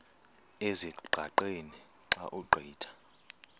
ezingqaqeni xa ugqitha